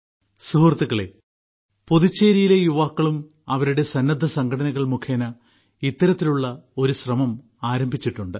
സുഹൃത്തുക്കളെ പുതുച്ചേരിയിലെ യുവാക്കളും അവരുടെ സന്നദ്ധസംഘടനകൾ മുഖേന ഇത്തരത്തിലുള്ള ഒരു ശ്രമം ആരംഭിച്ചിട്ടുണ്ട്